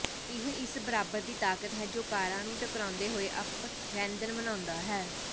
ਇਹ ਇਸ ਬਰਾਬਰ ਦੀ ਤਾਕਤ ਹੈ ਜੋ ਕਾਰਾਂ ਨੂੰ ਟਕਰਾਉਂਦੇ ਹੋਏ ਅਪਰੈਂਧਨ ਬਣਾਉਂਦਾ ਹੈ